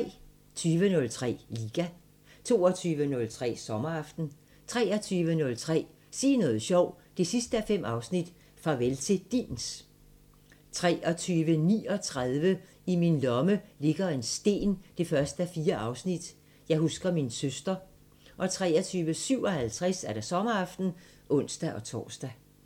20:03: Liga 22:03: Sommeraften 23:03: Sig noget sjovt 5:5 – Farvel til DIN's 23:39: I min lomme ligger en sten 1:4 – Jeg husker min søster 23:57: Sommeraften (ons-tor)